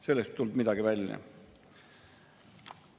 Sellest ei tulnud midagi välja.